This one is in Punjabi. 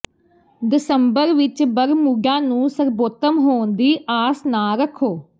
ਦਸੰਬਰ ਵਿਚ ਬਰਮੂਡਾ ਨੂੰ ਸਰਬੋਤਮ ਹੋਣ ਦੀ ਆਸ ਨਾ ਰੱਖੋ